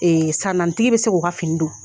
Ee san naani tigi be se k'o fini don